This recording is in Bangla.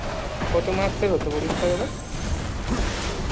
কত marks এর পরীক্ষা হতো তোদের